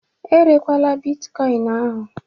Erekwala Bịtkọin ahụ!